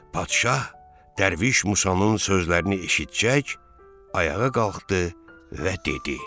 Padşah dərviş Musanın sözlərini eşitcək, ayağa qalxdı və dedi: